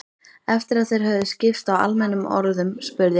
Eftir að þeir höfðu skipst á almennum orðum spurði